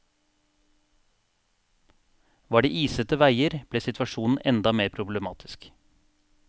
Var det isete veier, ble situasjonen enda mer problematisk.